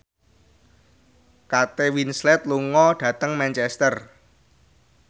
Kate Winslet lunga dhateng Manchester